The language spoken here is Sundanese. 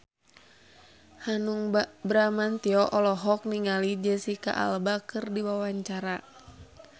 Hanung Bramantyo olohok ningali Jesicca Alba keur diwawancara